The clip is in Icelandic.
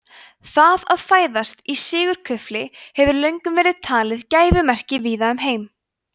það að fæðast í sigurkufli hefur löngum verið talið gæfumerki víða um heim